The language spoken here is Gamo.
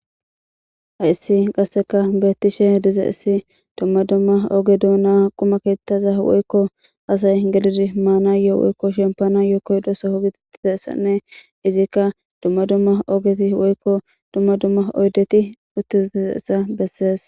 Hayssi qassikka beeththishe dizayssi dumma dumma oge doonaa quma keeththaza woykko asay gelizi maanayyo woykko shemppanayyo koyeththidazayssanne izikka dumma dumma ogethi woykko dumma dumma oydethi uththi7uththizeyssa besses.